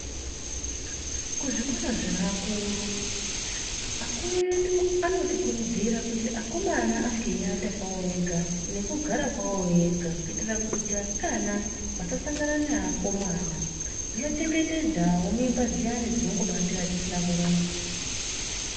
Kuzvikora zveakuru, akuru edu anotikurudzira kuti akomana ange eiata kwawo vega nekugara pavo vega kuitira kuti vasikana vasasangàna nevakomana zvinochengetedzawo mimba dziyani dzinongobatira dzisina kurongwa.